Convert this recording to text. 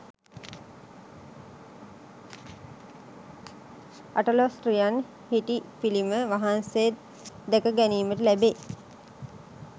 අටළොස්රියන් හිටි පිළිම වහන්සේ දැක ගැනීමට ලැබෙයි.